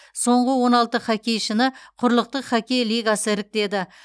соңғы он алты хоккейшіні құрлықтық хоккей лигасы іріктеді